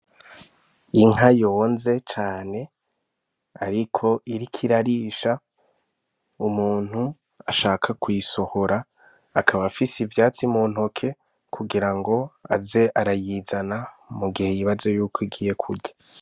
Inka yonze cane, ariko irika irarisha umuntu ashaka kwisohora akaba afise ivyatsi mu ntoke kugira ngo aze arayizana mu gihe yibaze yuko igiye kurya.